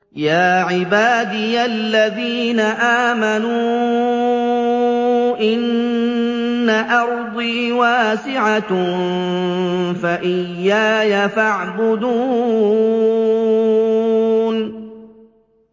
يَا عِبَادِيَ الَّذِينَ آمَنُوا إِنَّ أَرْضِي وَاسِعَةٌ فَإِيَّايَ فَاعْبُدُونِ